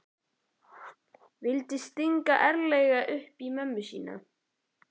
Vildi stinga ærlega upp í mömmu sína.